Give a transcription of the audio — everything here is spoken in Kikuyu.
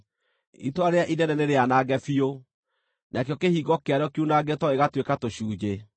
Itũũra rĩrĩa inene nĩrĩanange biũ, nakĩo kĩhingo kĩarĩo kiunangĩtwo gĩgatuĩka tũcunjĩ.